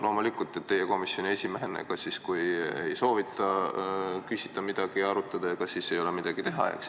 Loomulikult, kui ei soovita midagi küsida, arutada, ega siis ei ole midagi teha.